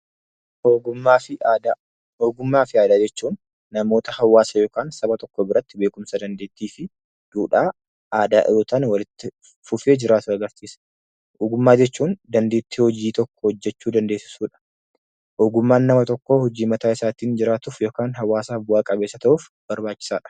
Ogummaa fi aadaa. Ogummaa fi aadaa jechuun namoota hawaasa yookiin saba tokko biratti beekumsa, dandeettii fi duudhaa aadaa dhihoo walitti fufee jiraatu agarsiisa. Ogummaa jechuun dandeettii hojii tokko hojjechuu dandeessisuu jechuudha. Ogummaan nama tokko ittiin jiraatuu fi jawaasaaf bu'a qabeessa ta'uuf barbaachisadha.